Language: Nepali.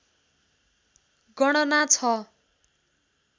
गणना छ